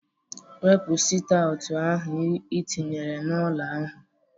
Wepu sit aụt ahụ i tinyere na-ụlọ ahụ!